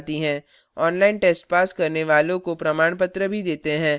online test pass करने वालों को प्रमाणपत्र भी देते हैं